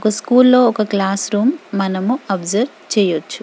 ఒక్క స్కూల్ లో ఒక క్లాస్రూమ్ మనం ఒబ్సెర్వె చేయొచ్చు.